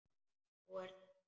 Nú, er það?